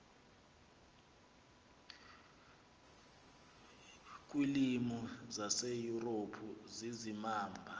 kwiilwimi zaseyurophu zizimamva